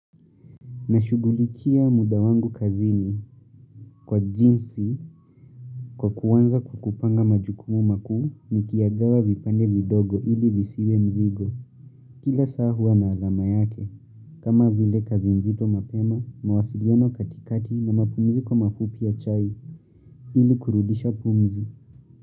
Na shugulikia muda wangu kazini, kwa jinsi kwa kuanza kukupanga majukumu makuu nikiyagawa vipande vidogo ili visiwe mzigo. Kila saa huwa na alama yake kama, vile kazi nzito mapema, mawasiliano katikati, na mapumziko mafupi ya chai ili kurudisha pumzi.